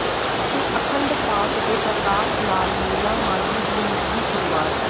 ਸ੍ਰੀ ਅਖੰਡ ਪਾਠ ਦੇ ਪ੍ਰਕਾਸ਼ ਨਾਲ ਮੇਲਾ ਮਾਘੀ ਦੀ ਨਿੱਘੀ ਸ਼ੁਰੂਆਤ